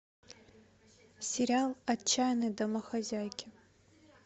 сериал отчаянные домохозяйки